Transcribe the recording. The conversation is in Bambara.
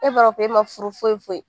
E b'a fɔ e ma furu foyi foyi